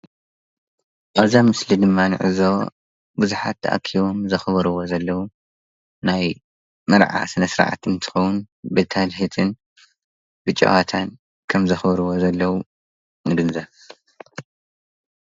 ኣብ ምስሊ ድማ ንዕዘቦም ብዛሓት ተኣኪቦም ዘክብርዎ ዘለዎ ናይ መርዓ ስነ-ስርዓት እንትኸውን ብትልህትን ብጨወታን ከም ዘክብርዎ ዘለው ንግንዘብ።